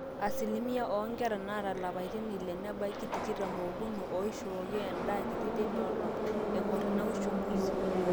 asilimia oonkera naata ilapaitin ile nebaiki tikitam ookuni ooishooki endaa kiti teina olong eng'or ina uchungusi